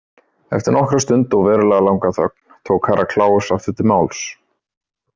Eftir nokkra stund og verulega langa þögn tók Herra Kláus aftur til máls.